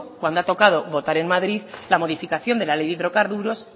cuando ha tocado votar en madrid la modificación de la ley de hidrocarburos